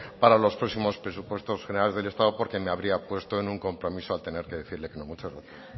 para los próximos presupuestos generales del estado porque me habría puesto en un compromiso al tener que decirle que no muchas gracias